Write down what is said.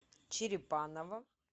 черепаново